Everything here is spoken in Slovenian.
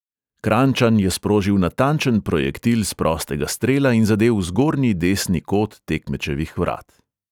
Kranjčan je sprožil natančen projektil s prostega strela in zadel v zgornji desni kot tekmečevih vrat.